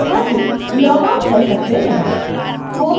आप koha से log out कर सकते हैं